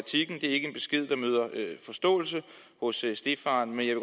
ikke en besked der møder forståelse hos stedfaren men jeg